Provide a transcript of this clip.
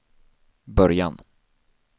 början